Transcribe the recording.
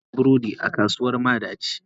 Na sayi burodin a kasuwar madaci.